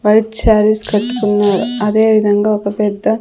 White saris కట్టుకున్నరు అదే విధంగా ఒక పెద్ద.